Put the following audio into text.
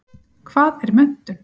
Hvað er menntun?